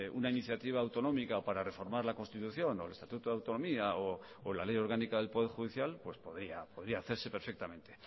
una iniciativa autonómica para reformar la constitución o el estatuto de autonomía o la ley orgánica del poder judicial pues podría hacerse perfectamente